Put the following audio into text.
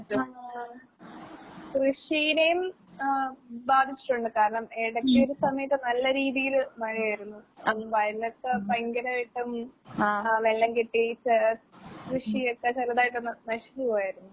ആഹ് കൃഷീനേം ഏഹ് ബാധിച്ചിട്ടൊണ്ട്. കാരണം ഇടയ്‌ക്കൊരു സമയത്ത് നല്ല രീതീല് മഴയായിരുന്നു. അന്ന് വയലൊക്കെ ഭയങ്കരായിട്ട് ആഹ് വെള്ളം കെട്ടീട്ട് കൃഷിയൊക്കെ ചെറുതായിട്ടൊന്ന് നശിഞ്ഞ് പോയാരുന്നു.